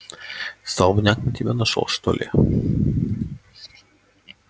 столбняк на тебя нашёл что ли